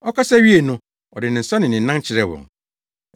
Ɔkasa wiee no, ɔde ne nsa ne ne nan kyerɛɛ wɔn.